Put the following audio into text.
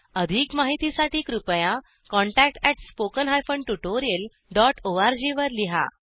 अधिक माहितीसाठी कृपया contact at spoken hyphen tutorial dot ORG वर लिहा